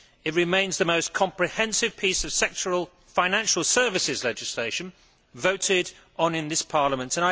It remains the most comprehensive piece of sectoral financial services legislation voted on in this Parliament.